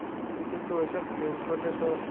কিন্তু ওই সব claim করলে তো